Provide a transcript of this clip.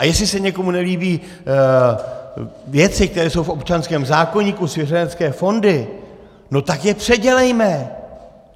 A jestli se někomu nelíbí věci, které jsou v občanském zákoníku - svěřenecké fondy, no tak je předělejme.